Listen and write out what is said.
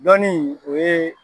Lɔnni o ye